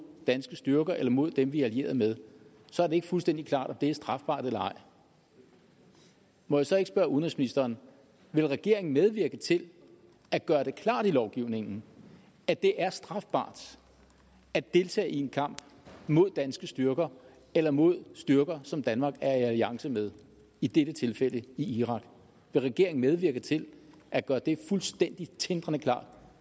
danske styrker eller mod dem vi er allieret med så er det ikke fuldstændig klart om det er strafbart eller ej må jeg så ikke spørge udenrigsministeren vil regeringen medvirke til at gøre det klart i lovgivningen at det er strafbart at deltage i en kamp mod danske styrker eller mod styrker som danmark er i alliance med i dette tilfælde i irak vil regeringen medvirke til at gøre det fuldstændig tindrende klart